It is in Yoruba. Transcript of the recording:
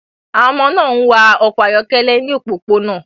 Àwọn ọmọ náà ń wa ọkọ̀ ayọ́kẹ́lẹ́ ní òpópónà